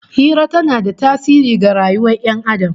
Hira tana da tasiri ga rayuwar Ƴan Adam